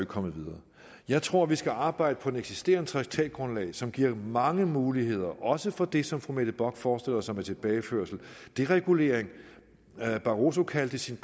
kommet videre jeg tror vi skal arbejde på det eksisterende traktatgrundlag som giver mange muligheder også for det som fru mette bock forestiller sig med tilbageførelse deregulering barroso kaldte sin